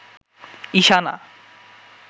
Ishana